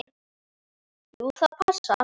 Jú, það passar.